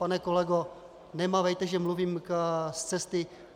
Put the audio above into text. Pane kolego, nemávejte, že mluvím z cesty.